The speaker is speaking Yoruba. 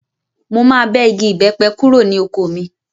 Mo máa bẹ́ igi ìbépẹ kúrò ní oko mi.